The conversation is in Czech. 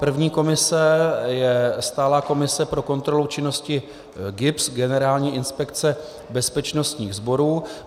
První komise je stálá komise pro kontrolu činnosti GIBS, Generální inspekce bezpečnostních sborů.